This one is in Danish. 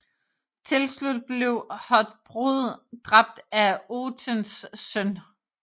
Tilslut blev Hothbrod dræbt af Othens søn